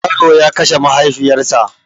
Yaro ya kashe mahaifiyar sa